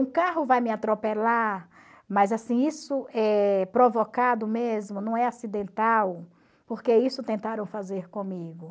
Um carro vai me atropelar, mas assim, isso é provocado mesmo, não é acidental, porque isso tentaram fazer comigo.